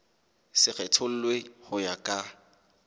se kgethollwe ho ya ka